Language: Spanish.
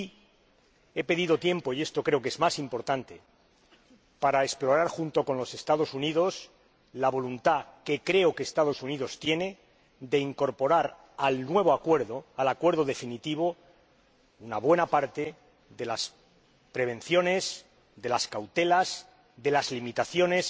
Y he pedido tiempo —y esto creo que es más importante— para explorar junto con los Estados Unidos la voluntad, que, creo, que los Estados Unidos tienen, de incorporar al nuevo acuerdo una buena parte de las prevenciones, de las cautelas, de las limitaciones